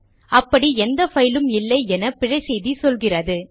அப்படி எந்த பைலும் இல்லை என பிழை செய்தி சொல்லுகிறது